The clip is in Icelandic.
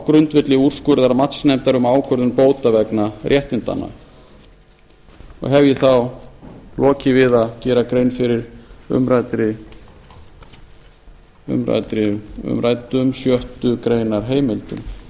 grundvelli úrskurðar matsnefndar um ákvörðun bóta vegna réttindanna hef ég þá lokið við að gera grein fyrir umræddum sjöttu grein heimildum